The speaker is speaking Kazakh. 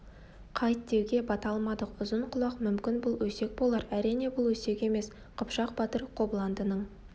қайт деуге бата алмадық ұзын-құлақ мүмкін бұл өсек болар әрине бұл өсек емес қыпшақ батыр қобыландының